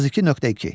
32.2.